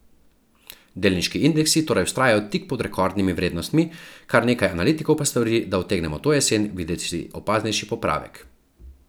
Delniški indeksi torej vztrajajo tik pod rekordnimi vrednostmi, kar nekaj analitikov pa svari, da utegnemo to jesen videti opaznejši popravek.